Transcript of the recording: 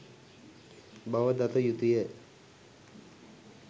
බව දත යුතුය.